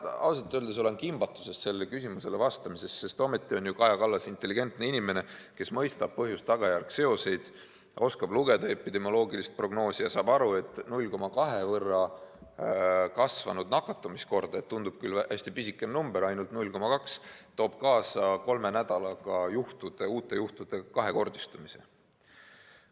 Ma ausalt öeldes olen kimbatuses sellele küsimusele vastamisel, sest Kaja Kallas on ju intelligentne inimene, kes mõistab põhjuse ja tagajärje seoseid, oskab lugeda epidemioloogilist prognoosi ja saab aru, et 0,2 võrra kasvanud nakatumiskordaja – tundub küll hästi pisike number, ainult 0,2 – toob kolme nädalaga kaasa uute juhtude kahekordistumise.